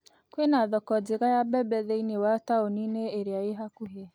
Kwĩna thoko njega ya mbembe thĩiniĩ wa taũni ĩrĩa ĩrĩ hakuhĩ